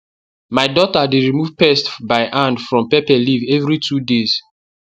my daughter dey remove pest by hand from pepper leaf every two days